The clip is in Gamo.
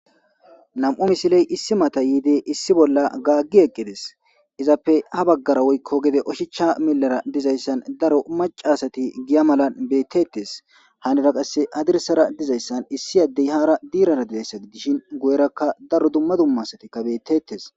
Nam'u misiley issi mata yiide issi bolla gaaggi eqqides izappe habaggara woykko gede oshicha millara dizayssan daro macasati giya malan bettettes hanira qasse adirsara dizayssan issi addey haara diirara dizayssa gidishin guyerakka daro dumma dumma satikka bettettes.